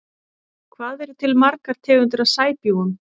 Hvað eru til margar tegundir af sæbjúgum?